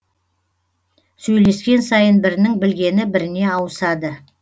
сөйлескен сайын бірінің білгені біріне ауысады